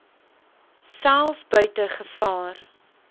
self buite gevaar